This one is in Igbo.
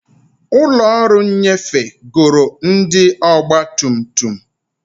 Ụlọ ọrụ nnyefe goro ndị ọgba tum tum.